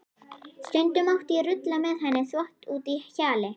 Stundum mátti ég rulla með henni þvott úti í hjalli.